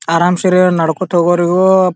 ಅರಾಮ್ ಸೆ ಇವ್ರು ನಡ್ಕೋತ ಹೋಗರೇ ಇವ್ರು--